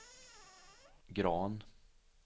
Grahn